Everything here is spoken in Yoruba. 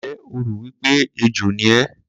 Ǹjẹ́ o rò wí pé ejò ni ẹ́?